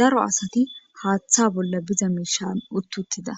Daro asati haaththa bolla diza miishshan utti uuttida